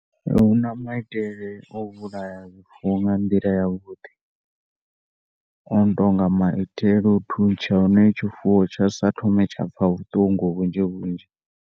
Huna maitele o vhulaya zwifuwo nga nḓila ya vhuḓi ono tonga nga maitele a u thuntsha na tshifuwo tsha sa thome tsha pfa na vhuṱungu vhunzhi vhunzhi.